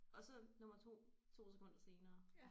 Og så nummer 2 2 sekunder senere